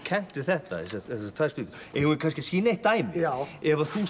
kennt við þetta þessar tvær spýtur eigum við kannski að sýna eitt dæmi ef þú